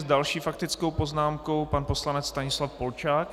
S další faktickou poznámkou pan poslanec Stanislav Polčák.